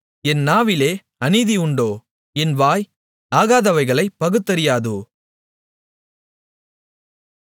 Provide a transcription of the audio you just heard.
என் நாவிலே அநீதி உண்டோ என் வாய் ஆகாதவைகளைப் பகுத்தறியாதோ